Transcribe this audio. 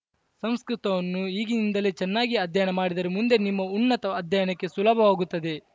ಸಂಸ್ಕೃತವನ್ನು ಈಗಿಂದಲೇ ಚೆನ್ನಾಗಿ ಅಧ್ಯಯನ ಮಾಡಿದರೆ ಮುಂದೆ ನಿಮ್ಮ ಉನ್ನತ ಅಧ್ಯಯನಕ್ಕೆ ಸುಲಭವಾಗುತ್ತದೆ